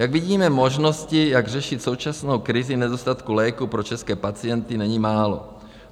Jak vidíme, možností, jak řešit současnou krizi nedostatku léků pro české pacienty, není málo.